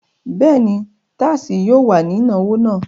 Bẹ́ẹ̀ ni, tasí yóò wà ní ìnáwó náà.